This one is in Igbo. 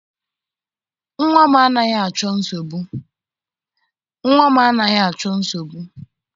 Nnwa m anaghị achọ nsogbu.